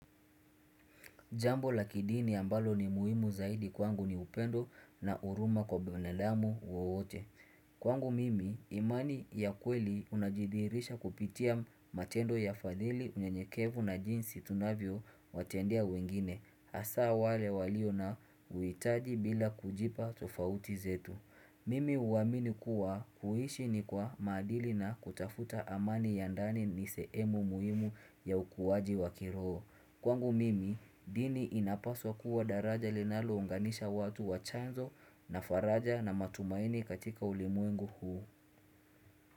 Jambo la kidini ambalo ni muhimu zaidi kwangu ni upendo na huruma kwa binadamu wowote. Kwangu mimi imani ya kweli unajidhihirisha kupitia matendo ya fadhili unyenyekevu na jinsi tunavyo watendea wengine. Hasa wale walio na uhitaji bila kujipa tofauti zetu. Mimi huamini kuwa kuishi ni kwa maadili na kutafuta amani ya ndani ni sehemu muhimu ya ukuwaji wa kiroho. Kwangu mimi, dini inapaswa kuwa daraja linalo unganisha watu wa chanzo na faraja na matumaini katika ulimwengu huu.